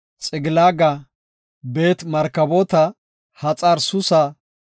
Xiqilaaga, Beet-Markaboota, Haxar-Suusa,